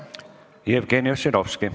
Jevgeni Ossinovski.